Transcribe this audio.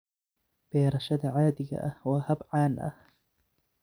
Beerashada caadiga ah waa hab caan ah.